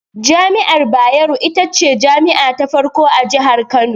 Jami'ar Bayero, ita ce jami'a ta farko a Jihar Kano.